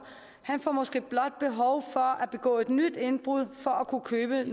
man får måske blot behov for at begå et nyt indbrud for at kunne købe